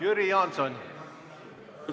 Jüri Jaanson, palun!